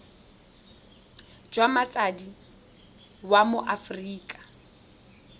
jwa motsadi wa mo aforika